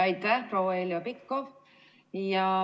Aitäh, proua Heljo Pikhof!